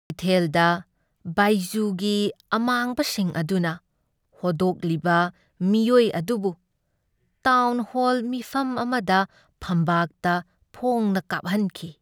ꯀꯩꯊꯦꯜꯗ ꯕꯥꯏꯖꯨꯒꯤ ꯑꯃꯥꯡꯕꯁꯤꯡ ꯑꯗꯨꯅ ꯍꯣꯗꯣꯛꯂꯤꯕ ꯃꯤꯑꯣꯢ ꯑꯗꯨꯕꯨ ꯇꯥꯎꯟꯍꯣꯜ ꯃꯤꯐꯝ ꯑꯃꯗ ꯐꯝꯕꯥꯛꯇ ꯐꯣꯡꯅ ꯀꯥꯞꯍꯟꯈꯤ꯫